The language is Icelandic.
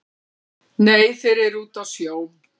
Nei þeir eru úti á sjó